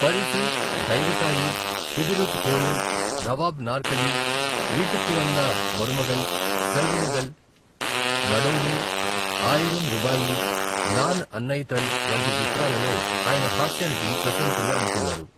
పరిసు, దైవ తాయి, కుదిరుధ కోయిల్, నవాబ్ నార్కలి, వీట్టుక్కు వంద మరుమగల్, సెల్వ మగల్, నడోడి, ఆయిరం రూబాయి, నాన్ అన్నయితల్ వంటి చిత్రాలలో ఆయన హాస్యానికి ప్రశంసలు అందుకున్నారు.